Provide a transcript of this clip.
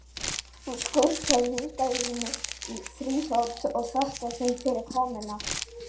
Hann skrúfar myndavélina á þrífót og þakkar þeim fyrir komuna.